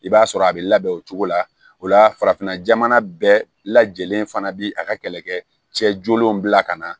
I b'a sɔrɔ a bɛ labɛn o cogo la o la farafinna jamana bɛɛ lajɛlen fana bi a ka kɛlɛkɛ cɛ jolenw bila ka na